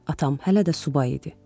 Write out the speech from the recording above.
Atam hələ də subay idi.